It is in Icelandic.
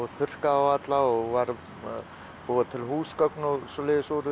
þurrkaði þá alla og var að búa til húsgögn og svoleiðis úr